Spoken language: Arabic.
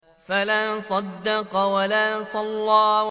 فَلَا صَدَّقَ وَلَا صَلَّىٰ